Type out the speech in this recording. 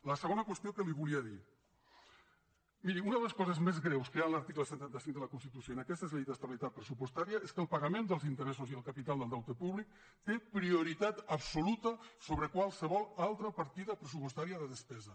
la segona qüestió que li volia dir miri una de les coses més greus que hi ha en l’article cent i trenta cinc de la constitució en aquestes lleis d’estabilitat pressupostària és que el pagament dels interessos i el capital del deute públic té prioritat absoluta sobre qualsevol altra partida pressupostària de despesa